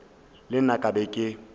le nna ke be ke